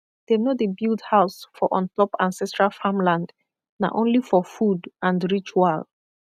dem no dey build house for on top ancestral farmland na only for food and ritual